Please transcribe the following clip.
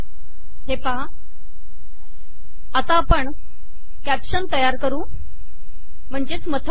मला मथळा सुध्दा तयार करता येईल